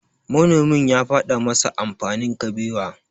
Manomin ya faɗa masa amfanin Kabewa.